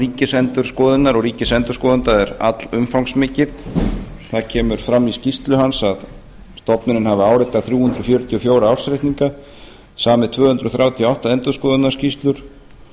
ríkisendurskoðunar og ríkisendurskoðanda er allumfangsmikið það kemur fram í skýrslu hans að stofnunin hafi áritað þrjú hundruð fjörutíu og fjögur ársreikninga samið tvö hundruð þrjátíu og átta endurskoðunarskýrslur